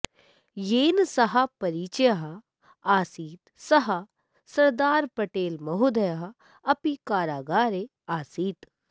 येन सह परिचयः आसीत् सः सरदार पटेल महोदयः अपि कारागारे आसीत्